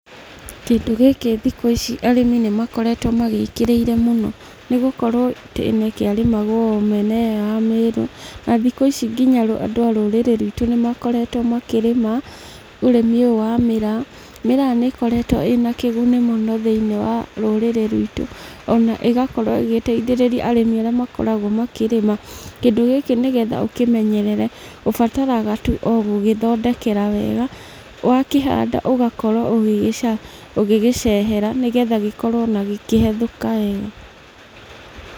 Kĩndũ gĩkĩ thikũ ici arĩmi nĩ makoretwo magĩkĩrĩire mũno, nĩgũkorwo tene kĩrĩmagwo o mĩena ĩyo ya Meru, na thikũ ici nginya andũ a rũrĩrĩ rwitũ nĩ makoretwo makĩrĩma ũrĩmi ũyũ wa mĩraa. Mĩraa nĩ ikoretwo ina kĩguni mũno thĩinĩ wa rũrĩrĩ rwitũ, ona igakorwo ĩgĩteithĩrĩria arĩmi arĩa makoragwo makĩrĩma. Kĩndĩ gĩkĩ nĩgetha ũkĩmenyerere ũbataraga tu o gũgĩthondekera wega, wakĩhanda ũgakorwo ũgĩgĩcehera nĩgetha gĩkorwo ona gĩkĩhethũka wega.